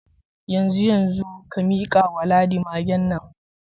Yanzu yanzu, ka mika wa Ladi magen nan.